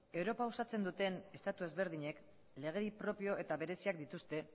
europa osatzen duten estatu ezberdinek lege propio eta bereziak dituzte